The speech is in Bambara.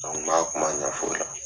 An kuma ɲɛfɔ o la.